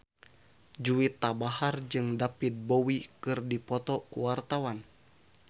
Juwita Bahar jeung David Bowie keur dipoto ku wartawan